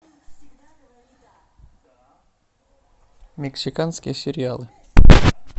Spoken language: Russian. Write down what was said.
мексиканские сериалы